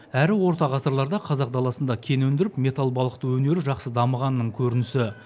әрі орта ғасырларда қазақ даласында кен өндіріп металл балқыту өнері жақсы дамығанның көрінісі